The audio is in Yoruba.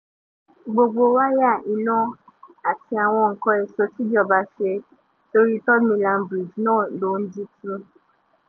gbogbo wáyà iná àti àwọn nǹkan èso tìjọba ṣe sórí third mainland bridge náà ló ń jí tu